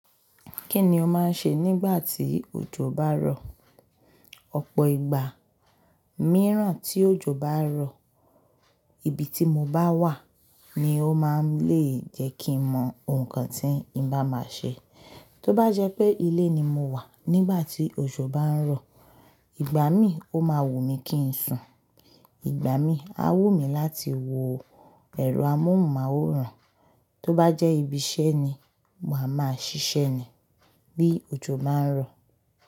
Kí ni o máa ń ṣe nígbà tí òjò bá ń rọ? Ọ̀pọ̀ ìgbà, mìíràn tí òjò bá ń rọ, ibi tí mo bá wà ni ó máa ń lè jẹ́ kí n mọ ohun kan tí n bá máa ṣe. Tó bá jẹ́ pé ilé ni mo wà nígbà tí òjò bá ń rọ, ìgbà mí o máa wù mí kí n sùn, ìgbà mí a wù mí láti wo ẹ̀rọ amóhùnmáwòrán. Tó bá jẹ́ ibi iṣẹ́ ni, ma máa ṣiṣẹ́ ni bí òjò bá ń rọ.